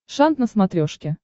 шант на смотрешке